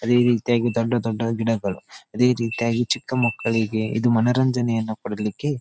ಅದೇ ರೀತಿಯಾಗಿ ದೊಡ್ಡ ದೊಡ್ಡ ಗಿಡಗಳು ಅದೇ ರೀತಿಯಾಗಿ ಚಿಕ್ಕ ಮಕ್ಕಳಿಗೆ ಇದು ಮನರಂಜನೆಯನ್ನ ಕೊಡಲಿಕ್ಕೆ --